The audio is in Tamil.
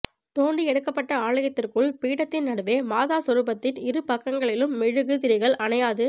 தோண்டி எடுக்கப்பட்ட ஆலயத்திற்குள் பீடத்தின் நடுவே மாதா சொரூபத்தின் இரு பக்கங்களிலும் மெழுகு திரிகள் அணையாது